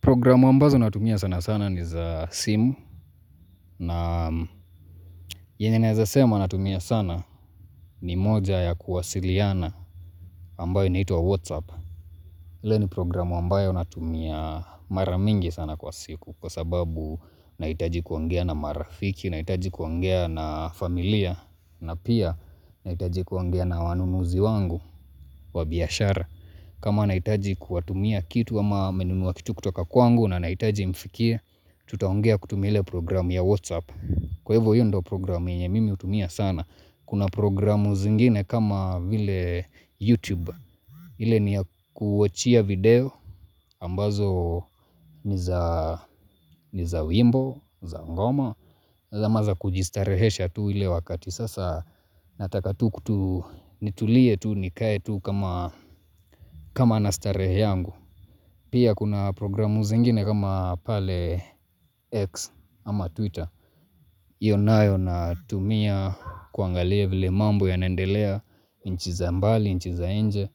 Programu ambazo natumia sana sana ni za simu na yenye naeza sema natumia sana ni moja ya kuwasiliana ambayo inaitwa Whatsapp. Ile ni programu ambayo natumia maramingi sana kwa siku kwa sababu naitaji kuongea na marafiki, nahitaji kuongea na familia na pia nahitaji kuongea na wanunuzi wangu wa biashara. Kama nahitaji kuwatumia kitu ama nimenunuwa kitu kutoka kwangu na nahitaji imfikie Tutaongea kutumie programu ya Whatsapp Kwa hivo hiyo ndo programu mimi hutumia sana Kuna programu zingine kama vile YouTube ile ni kuachia video ambazo ni za wimbo, za ngoma zama za kujistarehesha tu ile wakati Sasa nataka tu kutu nitulie tu nikae tu kama nastarehe yangu Pia kuna programu zingine kama pale X ama Twitter onayo na tumia kuangalia vile mambo ya nendelea nchi za mbali, nchi za nje